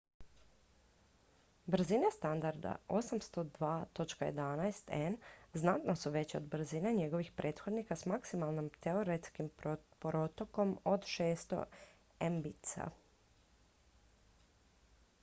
brzine standarda 802.11n znatno su veće od brzina njegovih prethodnika s maksimalnim teoretskim protokom od 600 mbit/s